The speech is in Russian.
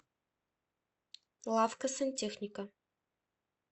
лавка сантехника